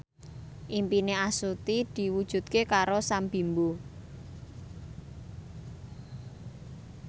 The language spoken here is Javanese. impine Astuti diwujudke karo Sam Bimbo